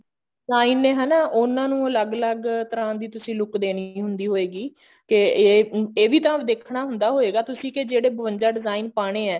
sign ਨੇ ਹਨਾ ਉਹਨਾ ਨੂੰ ਤੁਸੀਂ ਅਲੱਗ ਅਲੱਗ ਤਰ੍ਹਾਂ ਦੀ ਤੁਸੀਂ look ਦੇਣੀ ਹੁੰਦੀ ਹੋਏਗੀ ਕੇ ਇਹ ਇਹ ਵੀ ਤਾਂ ਦੇਖਣਾ ਹੁੰਦਾ ਹੋਏਗਾ ਤੁਸੀਂ ਕੀ ਜਿਹੜੇ ਬਵੰਜਾ design ਪਾਉਣੇ ਆ